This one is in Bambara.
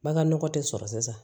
Baganɔgɔ tɛ sɔrɔ sisan